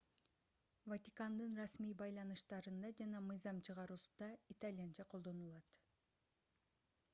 ватикандын расмий байланыштарында жана мыйзам чыгаруусунда итальянча колдонулат